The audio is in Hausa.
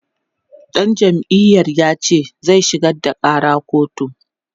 ɗan jam'iyar yace zai shigar da ƙara kotu